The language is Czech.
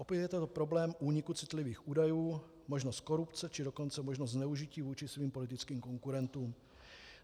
Opět je to problém úniku citlivých údajů, možnost korupce, či dokonce možnost zneužití vůči svým politickým konkurentům.